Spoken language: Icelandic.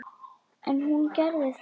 En hún gerði það.